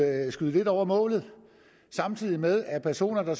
at skyde lidt over målet samtidig med at personer der